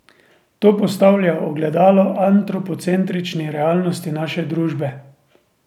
To postavlja ogledalo antropocentrični realnosti naše družbe.